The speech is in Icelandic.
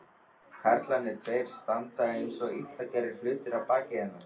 Karlarnir tveir standa einsog illa gerðir hlutir að baki hennar.